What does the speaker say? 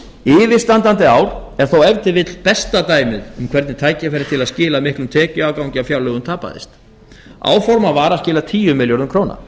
yfirstandandi ár er þó ef til vill besta dæmið um hvernig tækifæri til að skila miklum tekjuafgangi af fjárlögum tapaðist áformað var að skila tíu milljörðum króna